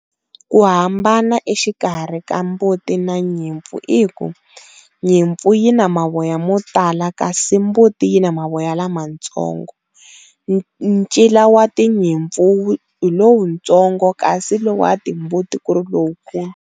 Ku hambana exikarhi ka mbuti na nyimpfu i ku nyimpfu yi na mavoya mo tala kasi mbuti yi na mavoya lamatsongo, ncila wa tinyimpfu hi lowutsongo kasi wa lowa timbuti ku ri lowukulu.